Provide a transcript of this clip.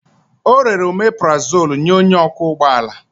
O rere omeparazolu nye onye ọkwọ ụgbọ ala.